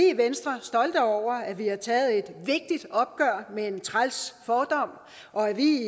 i venstre stolte over at vi har taget et vigtigt opgør med en træls fordom og at vi